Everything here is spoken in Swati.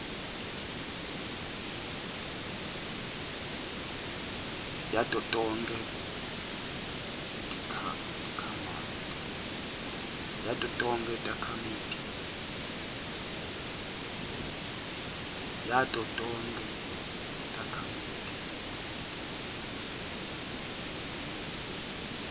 yato tonkhe takhamiti